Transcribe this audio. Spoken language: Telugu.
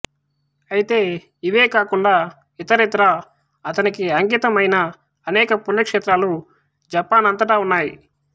అయితే ఇవే కాకుండా ఇతరత్రా అతనికి అంకితం అయిన అనేక పుణ్యక్షేత్రాలు జపాన్ అంతటా ఉన్నాయి